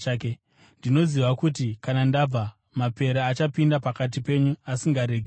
Ndinoziva kuti kana ndabva, mapere achapinda pakati penyu asingaregi boka.